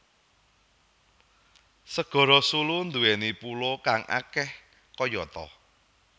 Segara Sulu nduwèni pulo kang akeh kayata